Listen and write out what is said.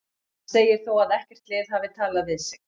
Hann segir þó að ekkert lið hafi talað við sig.